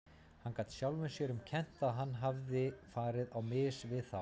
Hann gat sjálfum sér um kennt að hann hafði farið á mis við þá.